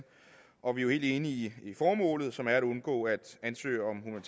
og vi er jo helt enige i formålet som er at undgå at ansøgning